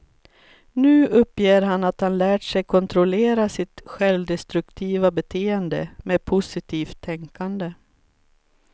Nu uppger han att han lärt sig kontrollera sitt självdestruktiva beteende med positivt tänkande.